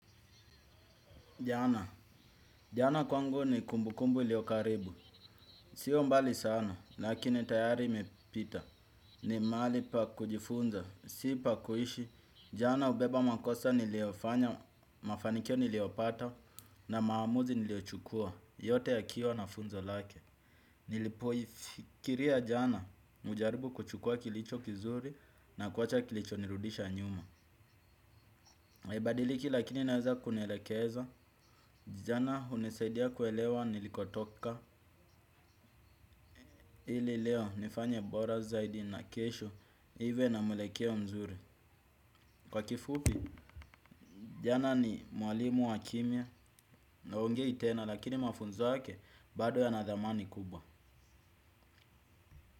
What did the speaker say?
Jana, jana kwangu ni kumbukumbu iliyokaribu, sio mbali sana, lakini tayari imepita, ni mahali pa kujifunza, sipa kuishi, jana hubeba makosa niliyofanya, mafanikio niliyopata, na maamuzi niliyochukua, yote yakiwa nafunza lake. Nilipoifikiria jana hujaribu kuchukua kilicho kizuri na kuwacha kilicho nirudisha nyuma. Ibadiliki lakini naweza kunielekeza jana hunisaidia kuelewa nilikotoka. Ili leo nifanye bora zaidi na kesho niwe na muelekeo a mzuri. Kwa kifupi jana ni mwalimu wa kimia na haongei tena lakini mafunzo yake bado ya nadhamani kubwa.